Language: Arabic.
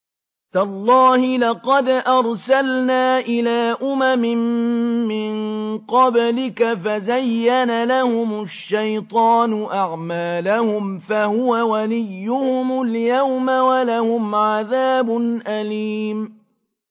تَاللَّهِ لَقَدْ أَرْسَلْنَا إِلَىٰ أُمَمٍ مِّن قَبْلِكَ فَزَيَّنَ لَهُمُ الشَّيْطَانُ أَعْمَالَهُمْ فَهُوَ وَلِيُّهُمُ الْيَوْمَ وَلَهُمْ عَذَابٌ أَلِيمٌ